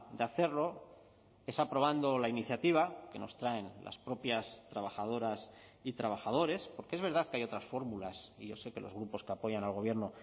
de hacerlo es aprobando la iniciativa que nos traen las propias trabajadoras y trabajadores porque es verdad que hay otras fórmulas y yo sé que los grupos que apoyan al gobierno